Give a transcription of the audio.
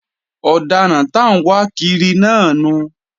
Ọ̀daràn t'áǹwákiri náà nu